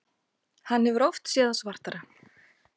Hefur oft séð það svartara